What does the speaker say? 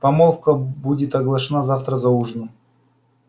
помолвка будет оглашена завтра за ужином